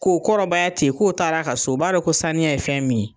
K'o kɔrɔbaya ten k'o taar'a ka so, o b'a dɔ ko saniya ye fɛn min ye.